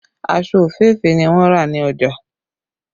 Aṣọ òféèfé ni wọn rà ní ọjà